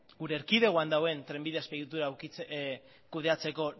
gure erkidegoan dagoen trenbide azpiegitura kudeatzeko